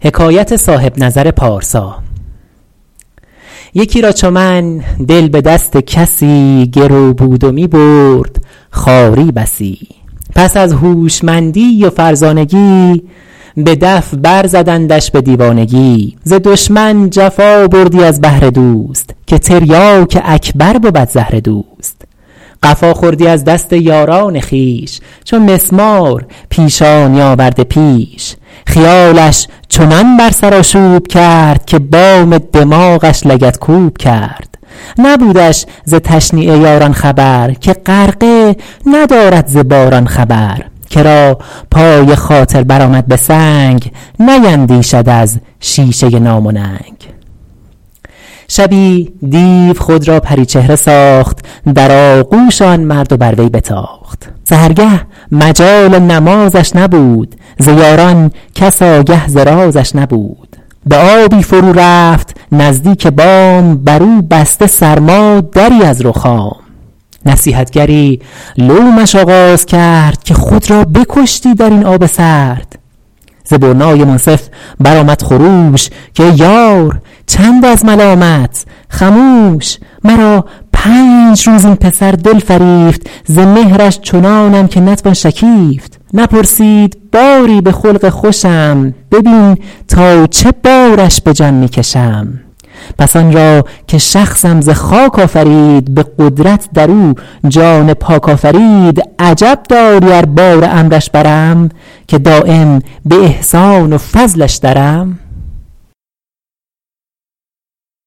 یکی را چو من دل به دست کسی گرو بود و می برد خواری بسی پس از هوشمندی و فرزانگی به دف بر زدندش به دیوانگی ز دشمن جفا بردی از بهر دوست که تریاک اکبر بود زهر دوست قفا خوردی از دست یاران خویش چو مسمار پیشانی آورده پیش خیالش چنان بر سر آشوب کرد که بام دماغش لگدکوب کرد نبودش ز تشنیع یاران خبر که غرقه ندارد ز باران خبر کرا پای خاطر بر آمد به سنگ نیندیشد از شیشه نام و ننگ شبی دیو خود را پریچهره ساخت در آغوش آن مرد و بر وی بتاخت سحرگه مجال نمازش نبود ز یاران کس آگه ز رازش نبود به آبی فرو رفت نزدیک بام بر او بسته سرما دری از رخام نصیحتگری لومش آغاز کرد که خود را بکشتی در این آب سرد ز برنای منصف بر آمد خروش که ای یار چند از ملامت خموش مرا پنج روز این پسر دل فریفت ز مهرش چنانم که نتوان شکیفت نپرسید باری به خلق خوشم ببین تا چه بارش به جان می کشم پس آن را که شخصم ز خاک آفرید به قدرت در او جان پاک آفرید عجب داری ار بار امرش برم که دایم به احسان و فضلش درم